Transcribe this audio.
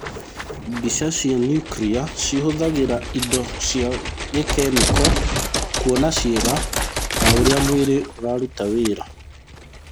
Mbica cia niukria cihũthagĩra indo cia gĩkemiko kwona ciĩga na ũrĩa mwĩrĩ ũraruta wĩra thĩ-inĩ.